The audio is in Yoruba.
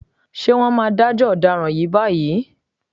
Ṣé wọ́n máa dájọ́ ọ̀daràn yìí báyìí?